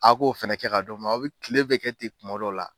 A k'o fana kɛ ka d'o ma aw bɛ kile bɛɛ kɛ ten kuma dɔ la.